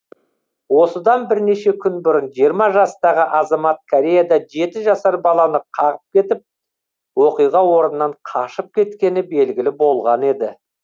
осыдан бірнеше күн бұрын жиырма жастағы азамат кореяда жеті жасар баланы қағып кетіп оқиға орнынан қашып кеткені белгілі болған еді